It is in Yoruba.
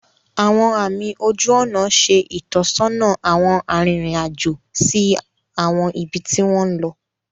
Awọn àmì ojú ònà ṣe itọsọna awọn aririn ajo si awọn ibi ti wọn lọ.